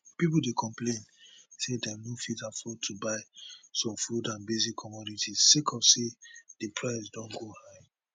pipo dey complain say dem no fit afford to buy some food and basic commodities sake of say di price don go high